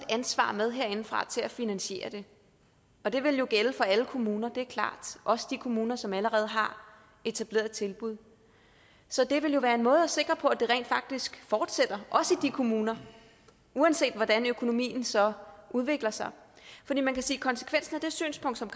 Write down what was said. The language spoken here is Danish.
ansvar med herindefra til at finansiere det og det ville jo gælde for alle kommuner det er klart også de kommuner som allerede har etablerede tilbud så det ville jo være en måde at sikre på at det rent faktisk fortsætter også i de kommuner uanset hvordan økonomien så udvikler sig for man kan sige at konsekvensen af det synspunkt som